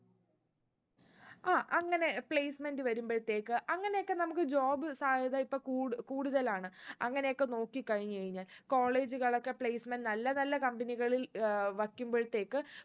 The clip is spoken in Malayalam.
ആ അങ്ങനെ placement വരുമ്പൾത്തേക്ക് അങ്ങനയൊക്കെ നമ്മക്ക് job സാധ്യത ഇപ്പൊ കൂടു കൂടുതലാണ് അങ്ങനെയൊക്കെ നോക്കി കഴിഞ്ഞ് കഴിഞ്ഞാ college കളൊക്കെ placement നല്ല നല്ല company കളിൽ ഏർ വെക്കുമ്പോഴത്തേക്ക്